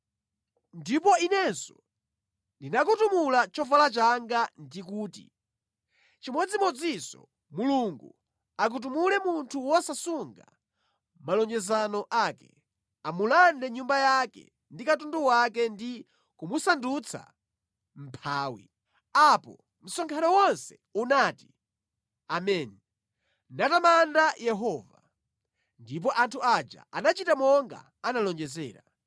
Ndipo inenso ndinakutumula chovala changa ndi kuti, “Chimodzimodzinso Mulungu akutumule munthu wosasunga malonjezano ake. Amulande nyumba yake ndi katundu wake ndi kumusandutsa mʼmphawi!” Apo msonkhano wonse unati, “Ameni” natamanda Yehova. Ndipo anthu aja anachita monga analonjezera.